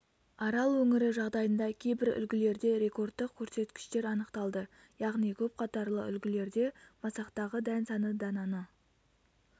арал өңірі жағдайында кейбір үлгілерде рекордтық көрсеткіштер анықталды яғни көпқатарлы үлгілерде масақтағы дән саны дананы